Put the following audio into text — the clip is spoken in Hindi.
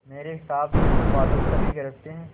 मेरे हिसाब से तो बादल तभी गरजते हैं